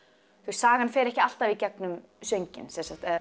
sagan fer ekki alltaf í gegnum sönginn sem sagt